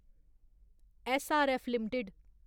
SRF limited